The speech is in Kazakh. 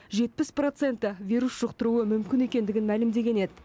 жетпіс проценті вирус жұқтыруы мүмкін екендігін мәлімдеген еді